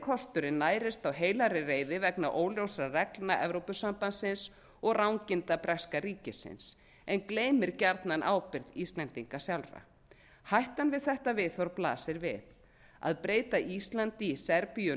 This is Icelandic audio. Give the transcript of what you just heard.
kosturinn nærist á heilagri reiði vegna óljósra reglna evrópusambandsins og ranginda breska ríkisins en gleymir gjarnan ábyrgð íslendinga sjálfra hættan við þetta viðhorf blasir við að breyta íslandi í serbíu